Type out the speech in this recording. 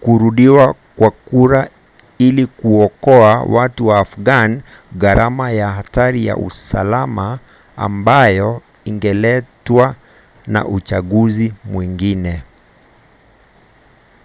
kurudiwa kwa kura ili kuokoa watu wa afghan gharama na hatari kwa usalama ambayo ingeletwa na uchaguzi mwengine